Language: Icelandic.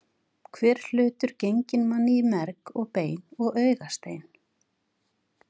Hver hlutur genginn manni í merg og bein og augastein.